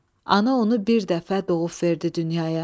Ana onu bir dəfə doğub verdi dünyaya.